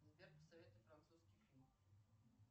сбер посоветуй французский фильм